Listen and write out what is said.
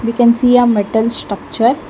can see a metal structure.